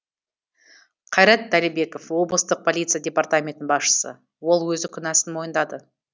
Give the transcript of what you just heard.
қайрат дәлібеков облыстық полиция департаментінің басшысы ол өзі күнәсін мойындады